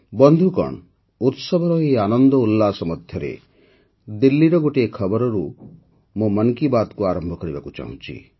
ବନ୍ଧୁଗଣ ଉତ୍ସବର ଏହି ଆନନ୍ଦ ଉଲ୍ଲାସ ମଧ୍ୟରେ ଦିଲ୍ଲୀର ଗୋଟିଏ ଖବରରୁ ହିଁ ମୁଁ ମନ୍ କି ବାତ୍କୁ ଆରମ୍ଭ କରିବାକୁ ଚାହୁଁଛି